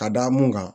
Ka da mun kan